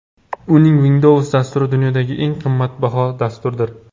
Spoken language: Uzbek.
Uning Windows dasturi dunyodagi eng ommabop dasturdir.